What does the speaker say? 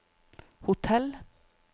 hotell